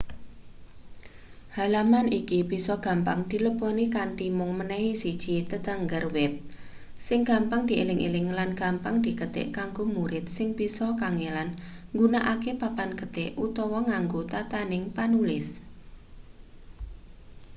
halaman iki bisa gampang dileboni kanthi mung menehi siji tetenger web sing gampang dieling-eling lan gampang diketik kanggo murid sing bisa kangelan nggunakake papan ketik utawa nganggo tatananing panulis